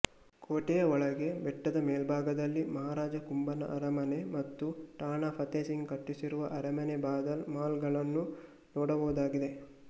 ಕೋಟೆಯ ಒಳಗೆ ಬೆಟ್ಟದ ಮೇಲ್ಭಾಗದಲ್ಲಿ ಮಹಾರಾಜ ಕುಂಭನ ಅರಮನೆ ಮತ್ತು ರಾಣಾ ಫತೇಸಿಂಘ್ ಕಟ್ಟಿಸಿರುವ ಅರಮನೆಬಾದಲ್ ಮಹಲ್ಗಳನ್ನು ನೋಡಬಹುದಾಗಿದೆ